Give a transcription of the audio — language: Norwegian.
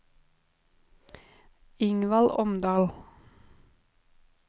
Ingvald Omdal